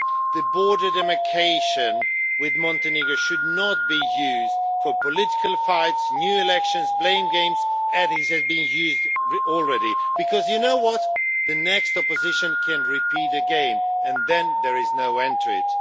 The border demarcation with Montenegro should not be used for political fights, new elections or blame games, as it has been used already, because the next opposition can repeat the game and then there is no end to it.